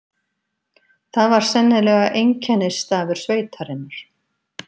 Það var sennilega einkennisstafur sveitarinnar.